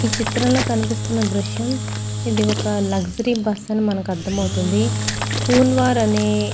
ఈ చిత్రంలో కనిపిస్తున్న దృశ్యం ఇది ఒక లగ్జరీ బస్సు అని మనకు అర్థంవుతుంది. కున్వార్ అనే --